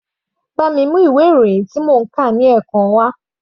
Bá mi mú ìwé ìròyìn tí èmi ń kà ní ẹ̀kan wá.